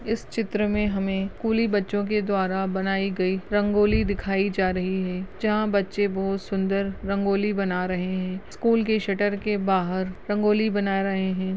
इस चित्र मे हमे स्कुली बच्चो के द्वारा बनायी गयी रंगोली दिखाई जा रही है जहा बच्चे बहुत सुंदर रंगोली बना रहे है स्कुल के शटर के बाहर रंगोली बना रहे है।